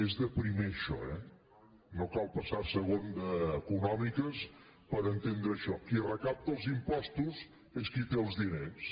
és de primer això eh no cal passar a segon d’econòmiques per entendre això qui recapta els impostos és qui té els diners